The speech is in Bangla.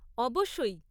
অবশ্যই!